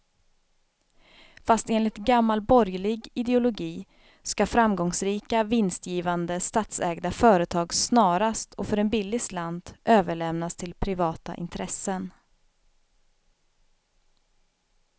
Fast enligt gammal borgerlig ideologi ska framgångsrika, vinstgivande statsägda företag snarast och för en billig slant överlämnas till privata intressen.